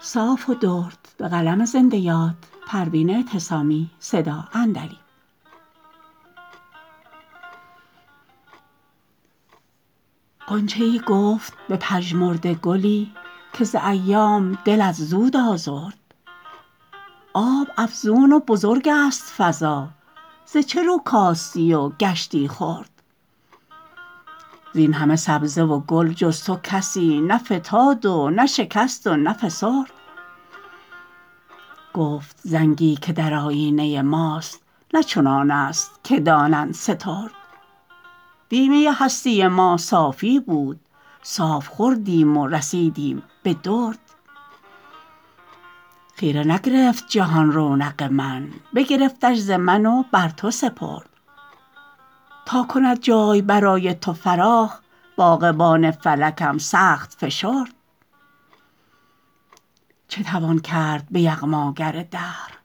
غنچه ای گفت به پژمرده گلی که ز ایام دلت زود آزرد آب افزون و بزرگست فضا ز چه رو کاستی و گشتی خرد زینهمه سبزه و گل جز تو کسی نه فتاد و نه شکست و نه فسرد گفت زنگی که در آیینه ماست نه چنانست که دانند سترد دی می هستی ما صافی بود صاف خوردیم و رسیدیم به درد خیره نگرفت جهان رونق من بگرفتش ز من و بر تو سپرد تا کند جای برای تو فراخ باغبان فلکم سخت فشرد چه توان گفت به یغماگر دهر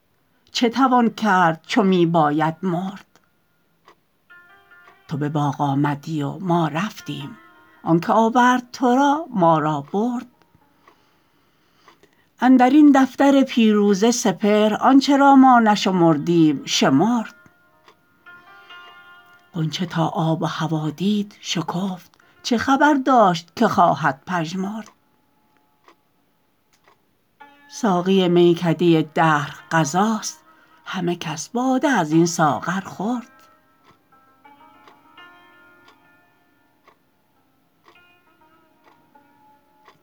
چه توان کرد چو می باید مرد تو به باغ آمدی و ما رفتیم آنکه آورد ترا ما را برد اندرین دفتر پیروزه سپهر آنچه را ما نشمردیم شمرد غنچه تا آب و هوا دید شکفت چه خبر داشت که خواهد پژمرد ساقی میکده دهر قضاست همه کس باده ازین ساغر خورد